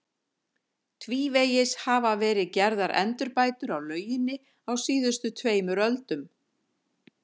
Tvívegis hafa verið gerðar endurbætur á lauginni á síðustu tveimur öldum.